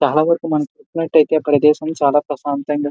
చాలావరకు మన చూసినట్టయితే ఈ ప్రదేశం చాల ప్రశాంతంగా --